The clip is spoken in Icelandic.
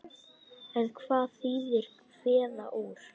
En hvað þýðir kveða úr?